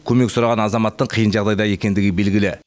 көмек сұраған азаматтың қиын жағдайда екендігі белгілі